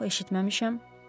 Yox, eşitməmişəm.